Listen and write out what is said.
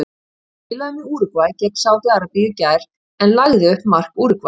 Hann spilaði með Úrúgvæ gegn Sádi Arabíu í gær en hann lagði upp mark Úrúgvæ.